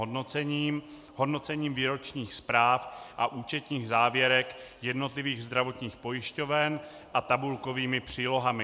Hodnocením výročních zpráv a účetních závěrek jednotlivých zdravotních pojišťoven a tabulkovými přílohami.